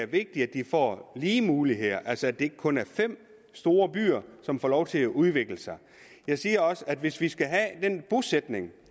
vigtigt at de får lige muligheder altså at det ikke kun er fem store byer som får lov til at udvikle sig jeg siger også at hvis vi skal have den bosætning